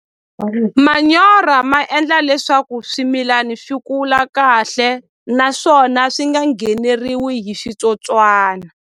Manyoro ma endla leswaku swimilani swi kula kahle naswona swi nga ngheneriwi hi switsotswana.